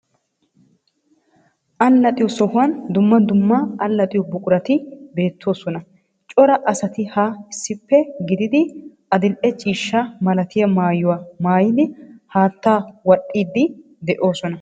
Allaxxiyo sohuwan dumma dumma Allaxxiyo buqurati beettoosona. Cora asati ha issippe gididi adil"e ciishshaa malatiya maayuwaa maayidi haattaa wadhdhidi de'oosona.